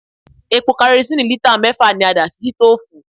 Epo karosíìnì lítà mẹ́fà ni a dà sí sítòòfù.